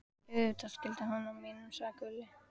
Auðvitað skiltið utan á mínum, sagði Gulli.